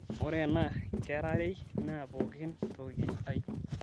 ore ena kerarei naa pookin toki ai